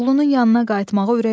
Oğlunun yanına qayıtmağa ürək eləmirdi.